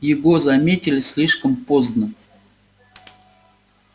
его заметили слишком поздно